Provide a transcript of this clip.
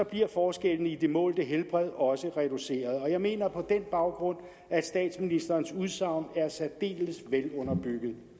bliver forskellene i det målte helbred også reduceret jeg mener på den baggrund at statsministerens udsagn er særdeles velunderbygget